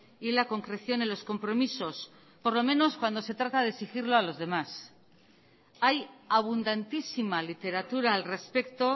y la concreción en los compromisos por lo menos cuando se trata de exigirlo a los demás hay abundantísima literatura al respecto